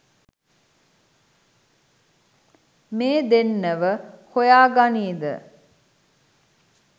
මේ දෙන්නව හොයා ගනීද?